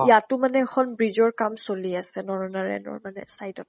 তʼ ইয়াতো মানে এখন bridge ৰ কাম চলি আছে । নৰনাৰায়ণৰ side ত